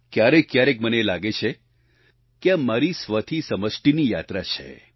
ક્યારેકક્યારેક મને એ લાગે છે કે આ મારી સ્વથી સમષ્ટિની યાત્રા છે